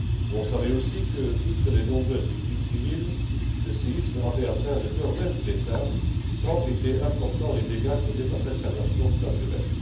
On savait aussi que, outre les nombreuses victimes civiles, le séisme avait atteint le cœur même de l'État, tant étaient importants les dégâts causés par cette catastrophe naturelle.